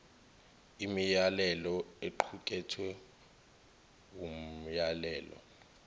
imiyalelo equkethwe wumyalelo